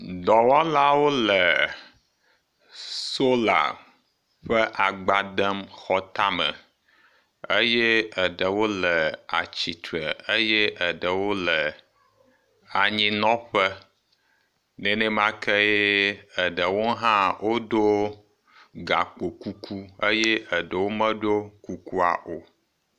Dɔwɔlawo le sola ƒe agba dem xɔ tame eye eɖewo le atsitre eye eɖewo le anyinɔƒe eye nenemakee eɖewo hã wodo gakpo kuku eye eɖewo hã medo kukua o.